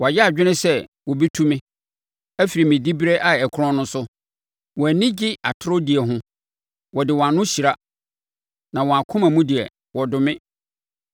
Wɔayɛ adwene sɛ wɔbɛtu me afiri me diberɛ a ɛkorɔn no so; wɔn ani gye atorɔ die ho. Wɔde wɔn ano hyira na wɔn akoma mu deɛ, wɔdome.